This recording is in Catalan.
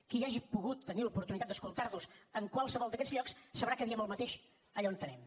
qui hagi pogut tenir l’oportunitat d’escoltar nos en qualsevol d’aquests llocs sabrà que diem el mateix allà on anem